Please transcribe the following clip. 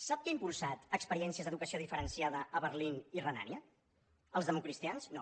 sap qui ha impulsat experiències d’educació diferenciada a berlín i renània els democristians no